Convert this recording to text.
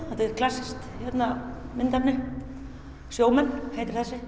þetta er klassískt myndefni sjómenn heitir þessi